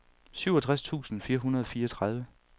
syvogtres tusind fire hundrede og fireogtredive